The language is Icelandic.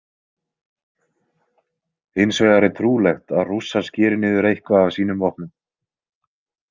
Hins vegar er trúlegt að Rússar skeri niður eitthvað af sínum vopnum.